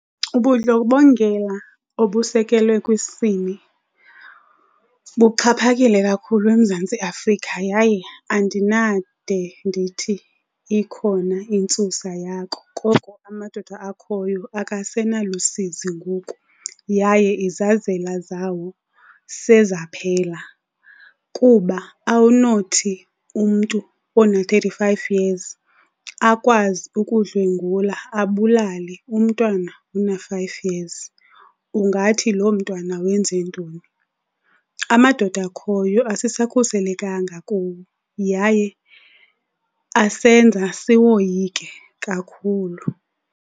Ubudlobongela obusekelwe kwisini buxhaphakile kakhulu eMzantsi Afrika yaye andinade ndithi ikhona intsusa yako koko amadoda akhoyo akasenalusizi ngoku yaye izazela zawo sezaphela, kuba awunothi umntu ona-thirty-five years akwazi ukudlwengula abulale umntwana ona-five years. Ungathi loo mntwana wenze ntoni? Amadoda akhoyo asisakhuselekanga kuwo yaye asenza siwoyike kakhulu.